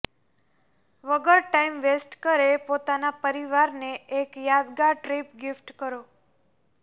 વગર time waste કરે પોતાના પરિવાર ને એક યાદગાર ટ્રીપ ગીફ્ટ કરો